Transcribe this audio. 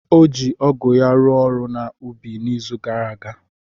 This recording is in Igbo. O ji ọgụ ya rụọ ọrụ na ubi na izu gara aga.